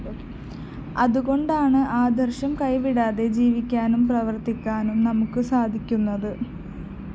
അതുകൊണ്ടാണ് ആദര്‍ശം കൈവിടാതെ ജീവിക്കാനും പ്രവര്‍ത്തിക്കാനും നമുക്ക് സാധിക്കുന്നത്